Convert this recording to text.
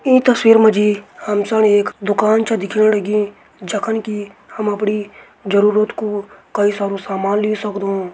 ई तस्वीर मा जी हम सन एक दुकान छ दिखेण लगीं जखम की हम सब अपड़ी जरूरत कू कई सारू सामान ले सकदों।